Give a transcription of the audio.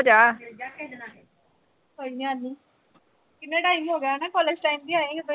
ਕੋਈ ਗੱਲ ਨੀਂ। ਕਿੰਨਾ time ਹੋਗਿਆ ਨਾ। college time ਦੀ ਆਈ ਆਂ, ਓਦਾਂ ਵੀ।